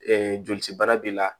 jolisi baara b'i la